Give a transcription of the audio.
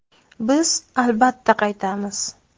Biz, albatta, qaytamiz.